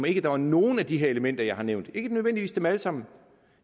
ikke var nogen af de her elementer jeg har nævnt ikke nødvendigvis dem alle sammen